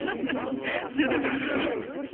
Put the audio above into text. жүріп жүріп па мен